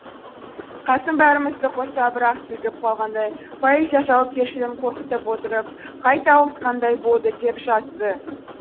қасым бәрімізді қоса бір ақ сілкіп қалғандай поэзия жауапкершілігін қорқытып отырып қайта оқытқандай болды деп жазды